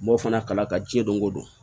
M'o fana kala ka jɛn don o don